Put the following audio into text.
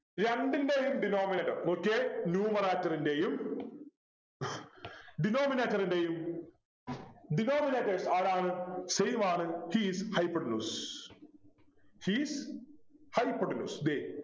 രണ്ടിൻ്റെയും Denominator നോക്കിയേ Numerator ൻ്റെ യും Denominator ൻ്റെയും Denominators ആരാണ് same ആണ് He is hypotenuse He is hypotenuse they